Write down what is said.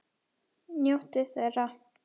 Njóttu þeirra!